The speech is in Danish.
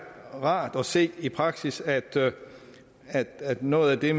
rart at se i praksis at at noget af det